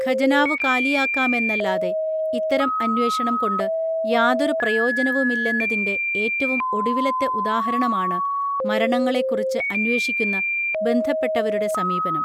ഖജനാവു കാലിയാക്കാമെന്നല്ലാതെ ഇത്തരം അന്വേഷണം കൊണ്ട് യാതൊരു പ്രയോജനവുമില്ലെന്നതിൻറെ ഏറ്റവും ഒടുവിലത്തെ ഉദാഹരണമാണ് മരണങ്ങളെക്കുറിച്ച് അന്വേഷിക്കുന്ന ബന്ധപ്പെട്ടവരുടെ സമീപനം